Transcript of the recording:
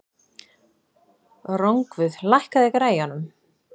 Rongvuð, lækkaðu í græjunum.